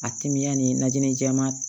A kimiya ni najini jɛman